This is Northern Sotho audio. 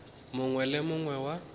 mongwe le yo mongwe wa